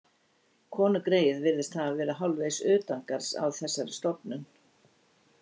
Konugreyið virðist hafa verið hálfvegis utangarðs á þessari stofnun.